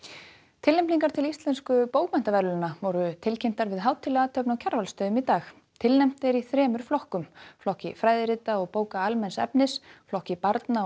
tilnefningar til Íslensku bókmenntaverðlaunanna voru tilkynntar við hátíðlega athöfn á Kjarvalsstöðum í dag tilnefnt er í þremur flokkum flokki fræðirita og bóka almenns efnis flokki barna og